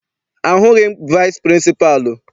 Ahụghị m vici pịrịnsịpalụ.